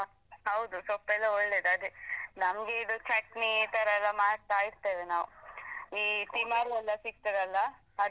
ಹ ಹೌದು ಸೊಪ್ಪೆಲ್ಲಾ ಒಳ್ಳೇದ್ ಅದೇ ನಮ್ಗೀದು ಚಟ್ನಿ ಇತರೆಲ್ಲಾ ಮಾಡ್ತಾ ಇರ್ತೇವೆ ನಾವ್ ಈ ತಿಮರೆ ಎಲ್ಲಾ ಸಿಕ್ತದಲ್ಲ ಅದು.